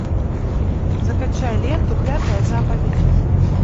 закачай ленту пятая заповедь